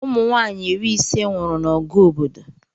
Ụmụnwaanyị iri ise nwụrụ n'ọgụ obodo